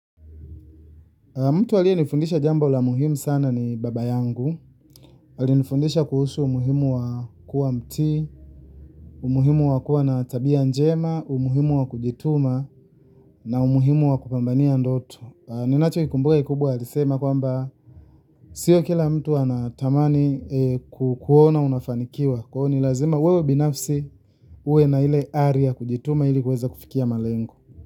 Mtu aliyenifundisha jamba la muhimu sana ni baba yangu. Alinifundisha kuhusu umuhimu wa kuwa mtii, umuhimu wa kuwa na tabia njema, umuhimu wa kujituma, na umuhimu wa kupambania ndoto. Ninacho kikumbwa kikubwa alisema kwamba, sio kila mtu anatamani kuona unafanikiwa. Kwa hivyo ni lazima wewe binafsi, uwe na ile ari ya kujituma ili kweza kufikia malengu.